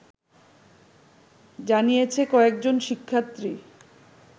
জানিয়েছে কয়েকজন শিক্ষার্থী